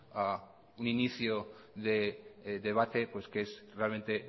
a un inicio de debate que es realmente